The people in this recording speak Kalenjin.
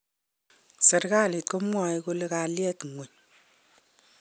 Serkalit komwae kole kaliet kwong